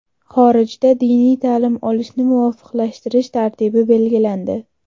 Xorijda diniy ta’lim olishni muvofiqlashtirish tartibi belgilandi.